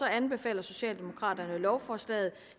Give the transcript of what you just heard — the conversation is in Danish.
anbefaler socialdemokraterne lovforslaget